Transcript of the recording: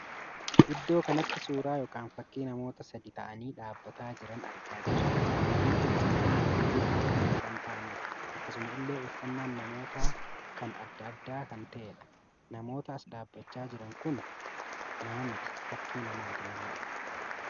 Iddoo kanatti suuraa ykn fakkii namoota sadii taa'anii dhaabbataa jiran argaa jirra. Namoonni kun sadan baay'ee diddiimoo kan taa'anidha. Akkasuma illee uffannaan namoota kan addaa addaa kan tahedha. namoota as dhaabbachaa jiran kun nama miti fakkii namaatii malee